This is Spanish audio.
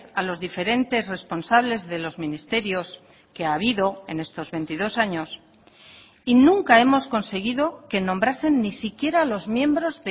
a los diferentes responsables de los ministerios que ha habido en estos veintidós años y nunca hemos conseguido que nombrasen ni siquiera a los miembros